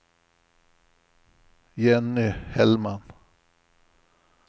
Jenny Hellman